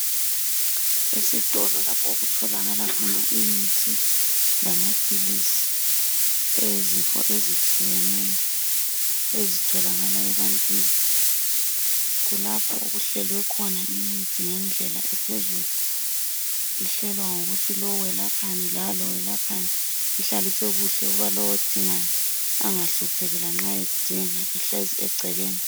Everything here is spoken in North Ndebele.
Esitolo lapho okutholalakala khona imithi lamapilisi eyezifo eztshiyeneyo. ezitholakala ebantwini. Kulapho okuhlelwe khona imithi ngendlela ephezulu. Ihlelwa ngokuthi lo welapha lalo welaphani, ihlaliswe kuhle ukuba lo odingayo angahlupheki lanxa edinga ihlezi egcekeni.